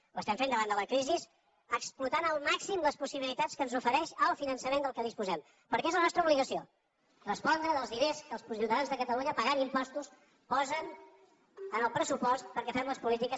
ho estem fent davant de la crisi explotant al màxim les possibi·litats que ens ofereix el finançament de què disposem perquè és la nostra obligació respondre dels diners que els ciutadans de catalunya pagant impostos posen al pressupost perquè fem les polítiques